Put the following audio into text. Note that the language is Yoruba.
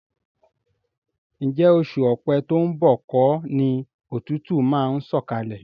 Ǹjẹ́ oṣù Ọ̀pẹ to ń bọ̀ kọ́ ni òtútù máa ń sọ̀kalẹ̀?